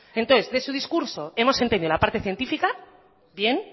entonces de su discurso hemos entendido la parte científica bien